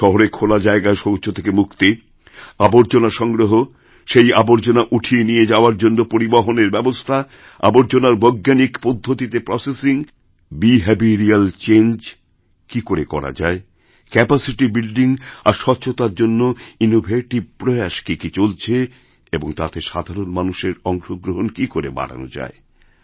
শহরেখোলা জায়গায় শৌচ থেকে মুক্তি আবর্জনা সংগ্রহ সেই আবর্জনা উঠিয়ে নিয়ে যাওয়ার জন্যপরিবহনের ব্যবস্থা আবর্জনার বৈজ্ঞানিক পদ্ধতিতে প্রসেসিং বিহেভিরিয়্যাল চেঞ্জ কীকরে করা যায় ক্যাপাসিটি বিল্ডিং আর স্বচ্ছতার জন্য ইনোভেটিভ প্রয়াস কী কী চলছেএবং তাতে সাধারণ মানুষের অংশগ্রহণ কী করে বাড়ান যায়